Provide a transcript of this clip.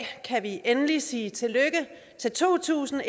kan vi endelig sige tillykke til to tusind